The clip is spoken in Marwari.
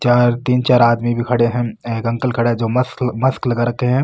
चार तीन चार आदमी भी खड़ा है एक अंकल खड़ा है जो मस्क मास्क लगा रखा है।